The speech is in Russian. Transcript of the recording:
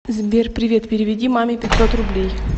сбер привет переведи маме пятьсот рублей